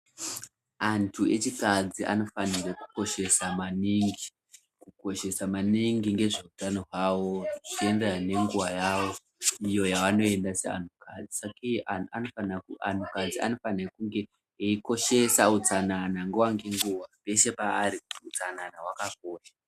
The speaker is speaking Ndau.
Antu echikadzi anofana kukoshesa maningi ngezvehutano hwavo zvakadai ngenguwa yavo izvo anhu kadzi anofana kukoshesa utsanana nguwa ngenguwa peshe paari utsanana hwakakosha.